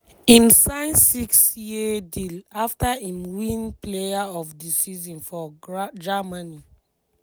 im sign six-year deal afta im win player of di season for germany.